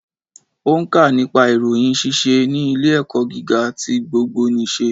Ó nkà nípa ìròyìn síse ní ilé ẹ̀kọ́ gíga ti gbogbo nìse